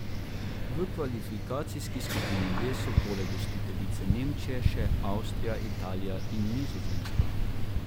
V kvalifikacijski skupini D so poleg gostiteljice Nemčije še Avstrija, Italija in Nizozemska.